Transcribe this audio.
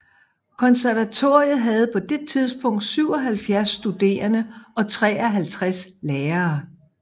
Konservatoriet havde på det tidspunkt 77 studerende og 53 lærere